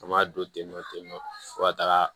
An b'a don tentɔ tentɔ fo ka taga